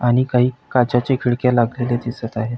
आणि काही काचाचे खिडक्या लागलेले दिसत आहे.